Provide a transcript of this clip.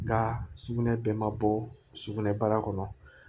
Nka sugunɛ bɛɛ ma bɔ sugunɛbara kɔnɔ